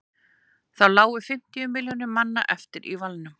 þá lágu fimmtíu milljónir manna eftir í valnum